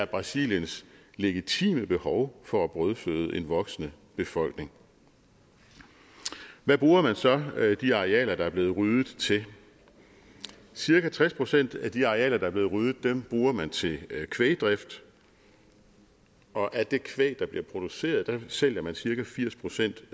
brasiliens legitime behov for at brødføde en voksende befolkning hvad bruger man så de arealer der er blevet ryddet til cirka tres procent af de arealer der er blevet ryddet bruger man til kvægdrift og af det kvæg der bliver produceret sælger man cirka firs procent